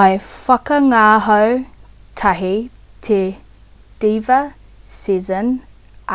i whakangāhau tahi te diva sezen